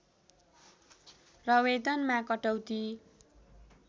र वेतनमा कटौती